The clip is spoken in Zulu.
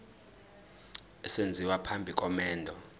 esenziwa phambi komendo